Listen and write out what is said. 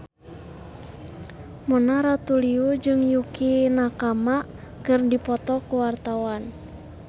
Mona Ratuliu jeung Yukie Nakama keur dipoto ku wartawan